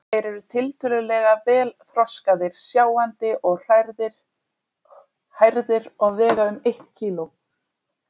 Þeir eru tiltölulega vel þroskaðir, sjáandi og hærðir og vega um eitt kíló.